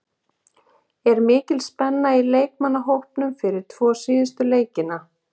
Er mikil spenna í leikmannahópnum fyrir tvo síðustu leikina?